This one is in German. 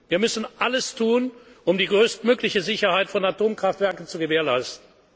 eines unstreitig Wir müssen alles tun, um die größtmögliche Sicherheit von Atomkraftwerken